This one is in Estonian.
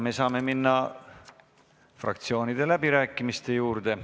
Me saame minna fraktsioonide läbirääkimiste juurde.